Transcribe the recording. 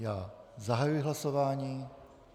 Já zahajuji hlasování.